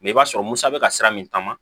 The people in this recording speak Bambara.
Mɛ i b'a sɔrɔ musa bɛ ka sira min taama